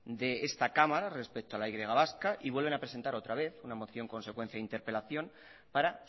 de esta cámara respecto a la y vasca y vuelven a presentar otra vez una moción con secuencia de interpelación para